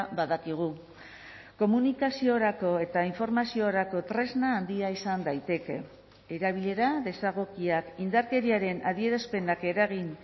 badakigu komunikaziorako eta informaziorako tresna handia izan daiteke erabilera desegokiak indarkeriaren adierazpenak eragin